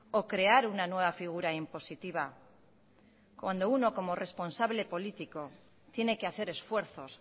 o crear una nueva figura impositiva cuando uno como responsable político tiene que hacer esfuerzos